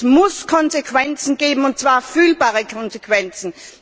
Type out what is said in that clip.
Es muss Konsequenzen geben, und zwar fühlbare Konsequenzen.